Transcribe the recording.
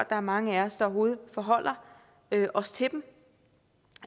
er mange af os der overhovedet forholder os til dem